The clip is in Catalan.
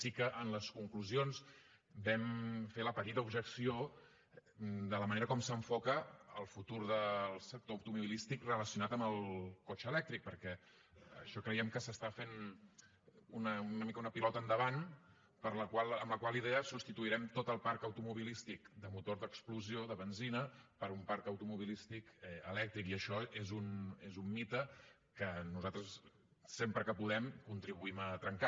sí que en les conclusions vam fer la petita objecció de la manera com s’enfoca el futur del sector automobilístic relacionat amb el cotxe elèctric perquè això creiem que s’està fent una mica una pilota endavant amb la qual idea substituirem tot el parc automobilístic de motor d’explosió de benzina per un parc automobilístic elèctric i això és un mite que nosaltres sempre que podem contribuïm a trencar